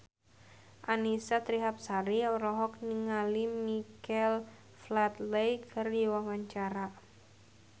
Annisa Trihapsari olohok ningali Michael Flatley keur diwawancara